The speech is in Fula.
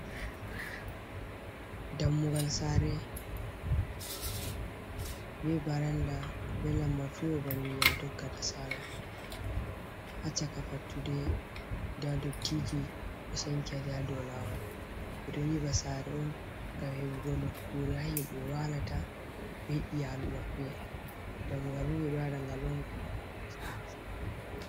Dammugal saare, be baranda, be lambatu babal ndiƴam tokkata saala. Haa chaka fattude, nda dottiiji ɗo sankiti haa dow lawol. Ɓe ɗon nƴiɓa saare on ngam heɓugo nokkuure haa himɓe waalata be iyaalu maɓɓe. Dammugal bo, ɓe ɗo waɗa ngal on, ngam haala nastugo nder saare.